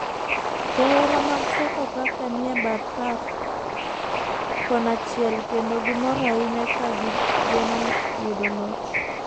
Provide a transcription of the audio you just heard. Johera mag sofa faka nie bath pap kon chiel kendo gimor ahinya ka gi geno yudo loch